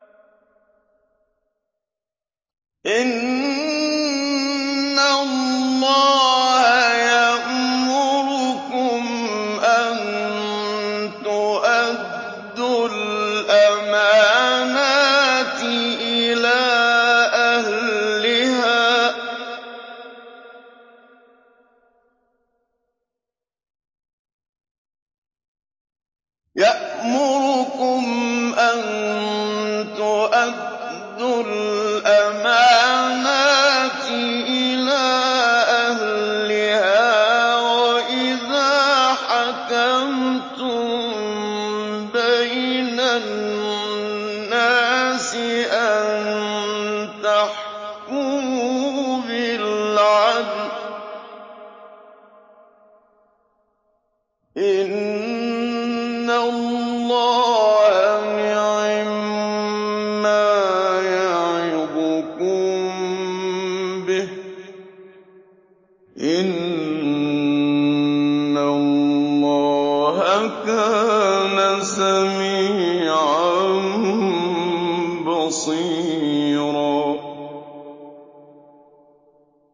۞ إِنَّ اللَّهَ يَأْمُرُكُمْ أَن تُؤَدُّوا الْأَمَانَاتِ إِلَىٰ أَهْلِهَا وَإِذَا حَكَمْتُم بَيْنَ النَّاسِ أَن تَحْكُمُوا بِالْعَدْلِ ۚ إِنَّ اللَّهَ نِعِمَّا يَعِظُكُم بِهِ ۗ إِنَّ اللَّهَ كَانَ سَمِيعًا بَصِيرًا